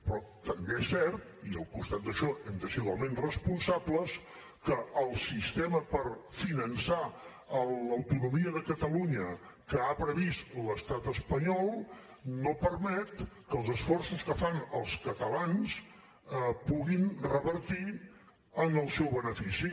però també és cert i al costat d’això hem de ser igualment responsables que el sistema per finançar l’autonomia de catalunya que ha previst l’estat espanyol no permet que els esforços que fan els catalans puguin revertir en el seu benefici